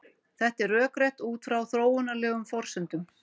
Þetta er rökrétt út frá þróunarlegum forsendum.